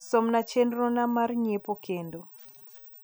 som na chenro na mar nyiepo kendo